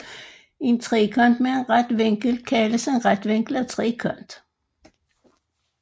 En trekant med en ret vinkel kaldes en retvinklet trekant